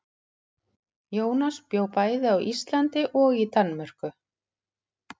Jónas bjó bæði á Íslandi og í Danmörku.